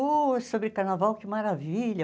Uh, é sobre carnaval, que maravilha!